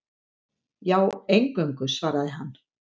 Já, eingöngu, svaraði hann.